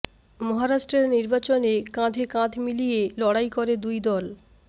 মহারাষ্ট্রের নির্বাচনে কাঁধে কাঁধ মিলিয়ে লড়াই করে দুই দল